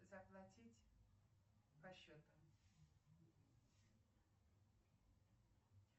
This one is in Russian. заплатить по счету